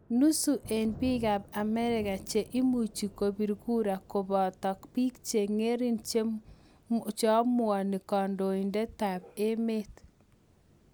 Nusu eng' piik ap amerika che imuchi kopir kura kopate piik che ng'ering' cheamuanikandoindetap emet